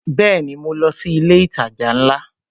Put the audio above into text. Bẹẹni, mo lọ sí ilé itaja ńlá?